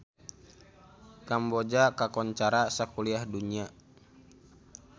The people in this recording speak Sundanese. Kamboja kakoncara sakuliah dunya